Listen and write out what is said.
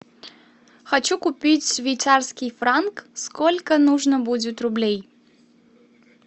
хочу купить швейцарский франк сколько нужно будет рублей